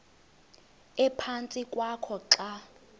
ephantsi kwakho xa